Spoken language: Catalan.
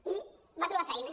i va trobar feina